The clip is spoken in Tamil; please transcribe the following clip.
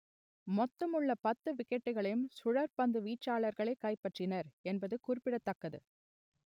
மொத்தமுள்ள பத்து விக்கெட்டுகளையும் சுழற்பந்து வீச்சாளர்களே கைப்பற்றினர் என்பது குறிப்பிடத்தக்கது